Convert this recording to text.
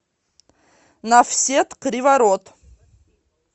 нафсет криворот